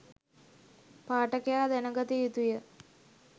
පාඨකයා දැනගත යුතුය.